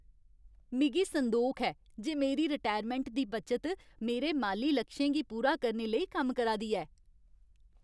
मिगी संदोख ऐ जे मेरी रटैरमैंट दी बचत मेरे माली लक्षें गी पूरा करने लेई कम्म करा दी ऐ।